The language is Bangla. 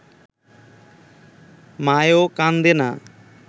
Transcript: মায়েও কান্দে না